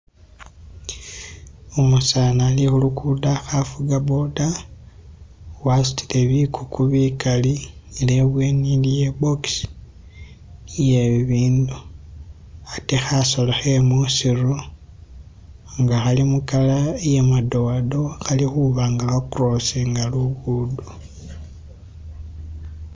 Umusani ali khulugudo akha fuga boda wasutile bikuku bikaali ne ibweni iliyo i'box iye bibindu wade khasolo khe musiru nga khali mu color iye madowadowa, ali khubanga ba crossinga lugudo.